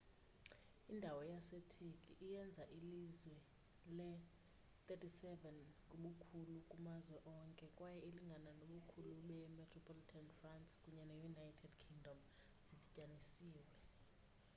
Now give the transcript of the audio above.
indawo yaseturkey iyenza ilizwe le-37 ngobukhulu kumazwe onke kwaye ilingana nobukhulu bemetropolitan france kunye ne-united kingdom zidityanisiwe